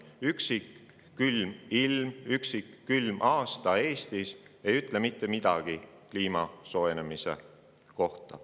Üksik külm ilm ega üksik külm aasta Eestis ei ütle mitte midagi kliima soojenemise kohta.